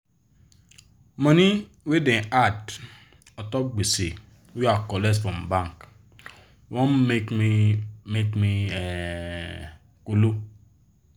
money wey da add untop gbese wey i colet from bank wan make me make me um kolo